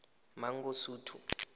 mangosuthu